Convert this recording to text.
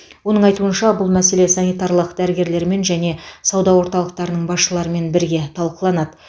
оның айтуынша бұл мәселе санитарлық дәрігерлермен және сауда орталықтарының басшыларымен бірге талқыланады